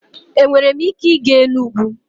Enwere m ike ịga Enugwu?